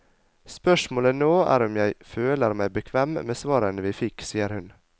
Spørsmålet nå er om jeg føler meg bekvem med svarene vi fikk, sier hun.